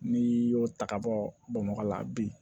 N'i y'o ta ka bɔ bamakɔ la a bi